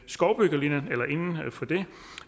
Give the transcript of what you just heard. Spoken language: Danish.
skovbyggelinjen